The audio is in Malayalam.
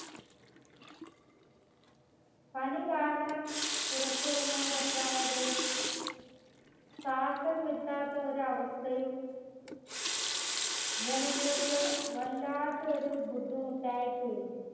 പനി കാരണം പുറത്തിറങ്ങാൻ പറ്റാതെയും ശ്വാസം കിട്ടാത്ത ഒരഅവസ്ഥയു ജനങ്ങൾക്ക് വല്ലാത്തൊരു ബുദ്ധിമുട്ടായി തീർന്നു